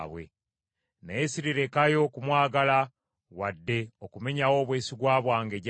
Naye ssirirekayo kumwagala, wadde okumenyawo obwesigwa bwange gy’ali.